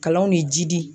Kalanw de jidi